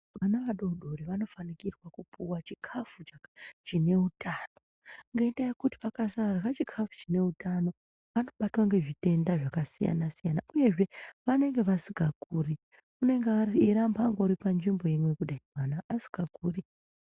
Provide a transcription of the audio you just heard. Vana vadodiri vanofanikirwa kupuwa chine utano nendaa yekuti vakasarya chikafu chine utano vanobatwa nezvitenda zvakasiyana -siyana uyezve vanenge vasingakuri anenge eingoramba ari panzvimbo imwe kudai kana asikakuri .